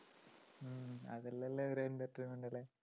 അതെല്ലാമല്ലേ ഒരു entertainment അല്ലേ?